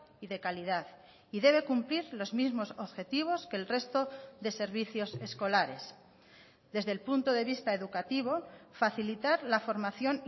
y de calidad y debe cumplir los mismos objetivos que el resto de servicios escolares desde el punto de vista educativo facilitar la formación